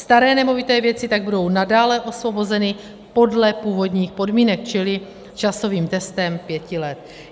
Staré nemovité věci tak budou nadále osvobozeny podle původních podmínek, čili časovým testem pěti let.